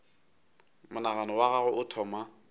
monagano wa gagwe o thoma